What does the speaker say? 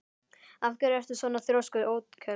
Af hverju ertu svona þrjóskur, Otkell?